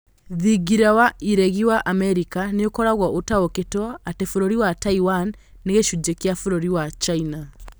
Thingira wa iregi wa Amerika nĩukaragwo ũtaĩkĩtwo atĩ bũrũri wa Taiwan nĩ gĩcunjĩ kĩa bũrũri wa China.